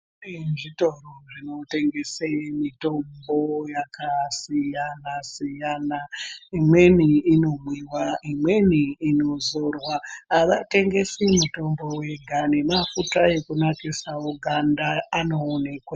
Kune zvitoro zvinotengesa mitombo yakasiyana siyana imweni inomwiwa imweni inozorwa havatengesi mitombo yega nemafuta ekunasirawo ganda anoonekwa wo.